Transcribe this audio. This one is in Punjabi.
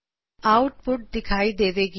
ਆਉਟਪੁਟ ਦਿਖਾਈ ਦੇਵੇ ਗੀ